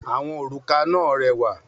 Àwọn òrùka náà rẹwà.